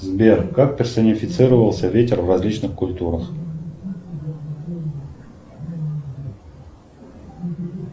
сбер как персонифицировался ветер в различных культурах